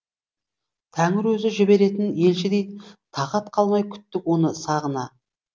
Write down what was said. тәңір өзі жіберетін елшідей тағат қалмай күттік оны сағына